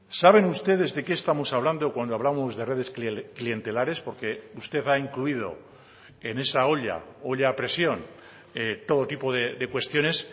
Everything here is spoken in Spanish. saben ustedes de qué estamos hablando cuando hablamos de redesclientelares porque usted ha incluido en esa olla olla a presión todo tipo de cuestiones